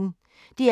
DR P1